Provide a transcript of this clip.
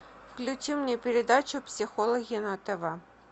включи мне передачу психологи на тв